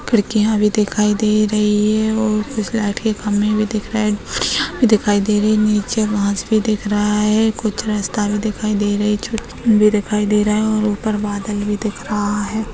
खिड़कियां भी दिखाई दे रही है और कुछ लाइट के खंभे भी दिख रहे है और यहां पे दिखाई दे रही है नीचे घास भी दिख रहा है कुछ रास्ता भी दिखाई दे रही छोटी भी दिखाई दे रहा है और ऊपर बादल भी दिख रहा हैं।